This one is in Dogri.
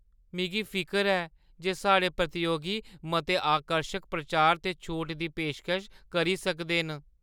मिगी फिकर ऐ जे साढ़े प्रतियोगी मते आकर्शक प्रचार ते छूट दी पेशकश करी सकदे न।